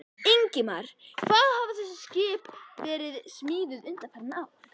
Ingimar: Hvar hafa þessi skip verið smíðuð undanfarin ár?